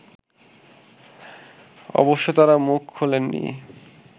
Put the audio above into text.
অবশ্য তারা মুখ খোলেননি